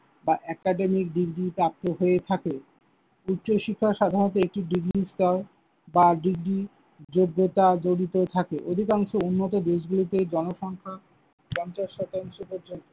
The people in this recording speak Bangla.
বা academic degree প্রাপ্ত হয়ে থাকে। উচ্চশিক্ষা সাধারণত একটি degree স্তর বা degree যোগ্যতা জড়িত থাকে। অধিকাংশ উন্নত দেশগুলিতে জনসংখ্যা পঞ্চাশ শতাংশ পর্যন্ত